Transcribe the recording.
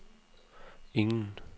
ingen